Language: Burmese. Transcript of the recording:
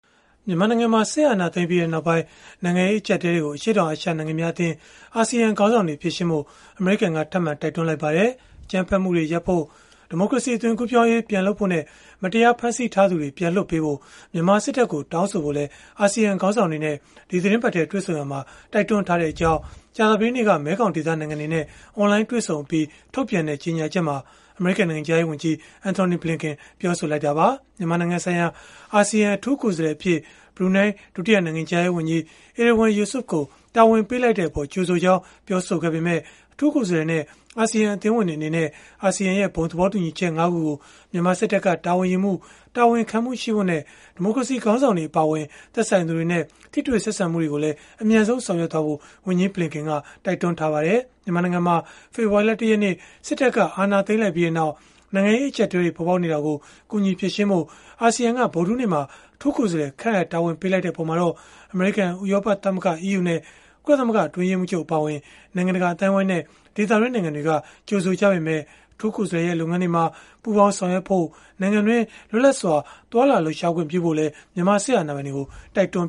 မြန်မာနိုင်ငံမှာ စစ်အာဏာသိမ်းပြီးနောက်ပိုင်း နိုင်ငံရေး အကျပ်အတည်းတွေကို အရှေ့တောင်အာရှ နိုင်ငံများအသင်း (ASEAN) ခေါင်းဆောင်တွေ ဖြေရှင်းဖို့ အမေရိကန်က ထပ်မံတိုက်တွန်းလိုက်ပါတယ်။ အကြမ်းဖက်မှုတွေရပ်ဖို့၊ ဒီမိုကရေစီ အသွင်ကူးပြောင်းရေး ပြန်လုပ်ဖို့နဲ့ မတရားဖမ်းဆီးထားသူတွေကို ပြန်လွှတ်ပေးဖို့ မြန်မာစစ်တပ်ကို တောင်းဆိုဖို့လည်း အာဆီယံခေါင်းဆောင်တွေနဲ့ ဒီသီတင်းပတ်ထဲ တွေ့ဆုံရာမှာ တိုက်တွန်းထားတဲ့အကြောင်း ကြာသပတေးနေ့က မဲခေါင်ဒေသနိုင်ငံတွေနဲ့ အွန်လိုင်းတွေ့ဆုံအပြီး ထုတ်ပြန်တဲ့ ကြေညာချက်မှာ အမေရိကန် နိုင်ငံခြားရေးဝန်ကြီး Antony Blinken ကပြောဆိုခဲ့တာပါ။ မြန်မာနိုင်ငံဆိုင်ရာ အာဆီယံ အထူးကိုယ်စားလှယ်အဖြစ် ဘရူနိုင်း ဒုတိယနိုင်ငံခြားရေးဝန်ကြီး Erywan Yusof ကို တာဝန်ပေးလိုက်တဲ့အပေါ် ကြိုဆိုကြောင်း ပြောဆိုခဲ့ပေမဲ့ အထူးကိုယ်စားလှယ်နဲ့ အာဆီယံအသင်းဝင်တွေ အနေနဲ့ အာဆီယံ ဘုံသဘောတူညီချက် ၅ ခုကို မြန်မာစစ်တပ်က တာဝန်ယူမှု၊ တာဝန်ခံမှုရှိဖို့နဲ့ ဒီမိုကရေစီ ခေါင်းဆောင်တွေ အပါအဝင် သက်ဆိုင်သူတွေနဲ့ ထိတွေ့ဆက်ဆံမှုတွေကိုလည်း အမြန်ဆုံးဆောင်ရွက်ဖို့လည်း ဝန်ကြီးဘလင်ကင်က တိုက်တွန်းထားပါတယ်။ မြန်မာနိုင်ငံမှာ ဖေဖော်ဝါရီလ ၁ ရက်နေ့ စစ်တပ်က အာဏာသိမ်းလိုက်ပြီးနောက် နိုင်ငံရေး အကျပ်အတည်းတွေ ပေါ်ပေါက်နေတာကို ကူညီဖြေရှင်းပေးဖို့ အာဆီယံက ဗုဒ္ဓဟူးနေ့မှာ အထူးကိုယ်စားလှယ် ခန့်အပ်တာဝန်ပေးလိုက်တဲ့ အပေါ်မှာတော့ အမေရိကန်၊ ဥရောပသမဂ္ဂ (EU) နဲ့ ကုလသမဂ္ဂ အတွင်းရေးမှူးချုပ် အပါအဝင် နိုင်ငံတကာ အသိုင်းအဝန်းနဲ့ ဒေသတွင်း နိုင်ငံတွေက ကြိုဆိုခဲ့ကြပေမဲ့ အထူးကိုယ်စားလှယ်ရဲ့ လုပ်ငန်းတွေမှာ ပူးပေါင်း ဆောင်ရွက်ဖို့ နိုင်ငံတွင်းမှာ လွတ်လပ်စွာ သွားလာလှုပ်ရှားခွင့် ပြုဖို့လည်း မြန်မာစစ်အာဏာပိုင်တွေကို တိုက်တွန်း